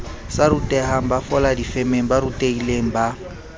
sa rutehangbafola difemeng ba rutehilengba